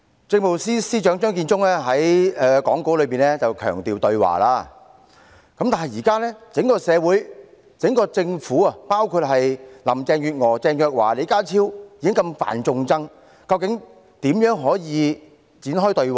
政務司司長張建宗在講稿裏強調對話，但現時整個政府，包括林鄭月娥、鄭若驊和李家超已經如此犯眾怒，究竟可如何展開對話？